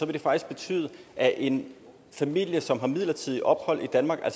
det faktisk betyde at en familie som har midlertidigt ophold i danmark og